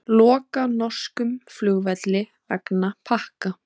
Loka norskum flugvelli vegna pakka